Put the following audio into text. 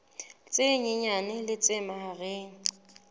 tse nyenyane le tse mahareng